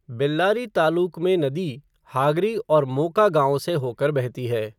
बेल्लारी तालुक में, नदी हागरी और मोका गाँवों से होकर बहती है।